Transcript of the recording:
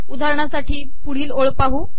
उदाहरणासाठी पुढील ओळ पाहू